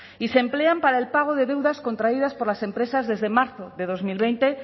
y se emplean para el pago de deudas contraídas por las empresas desde marzo de dos mil veinte